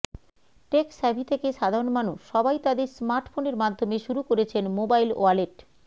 take savvy থেকে সাধারন মানুষ সবাই তাদের স্মার্টফোনের মাধ্যমে শুরু করেছেন মোবাইল ওয়ালেট